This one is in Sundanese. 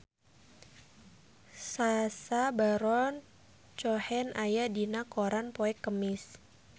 Sacha Baron Cohen aya dina koran poe Kemis